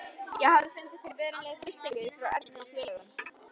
Ég hafði fundið fyrir verulegum þrýstingi frá Erni og félögum.